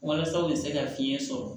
Walasa u bɛ se ka fiɲɛ sɔrɔ